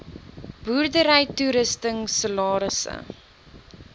boerdery toerusting salarisse